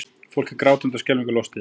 Fólk er grátandi og skelfingu lostið